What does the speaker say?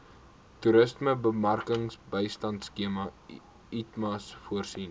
toerismebemarkingbystandskema itmas voorsien